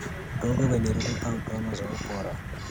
Udongo wenye rutuba hutoa mazao bora.